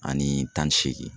Ani tan ni seegin